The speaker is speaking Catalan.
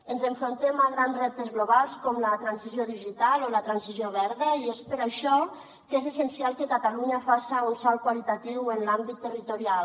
ens enfrontem a grans reptes globals com la transició digital o la transició verda i és per això que és essencial que catalunya faça un salt qualitatiu en l’àmbit territorial